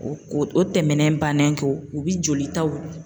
O ko o tɛmɛnen bannen kɔ u bi jolitaw